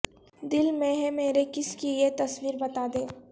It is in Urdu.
دل میں ہے مرے کس کی یہ تصویر بتا دے